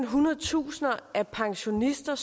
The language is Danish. hundrede tusinde af pensionister